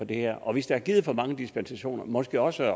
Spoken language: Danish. det her og hvis der er givet for mange dispensationer måske også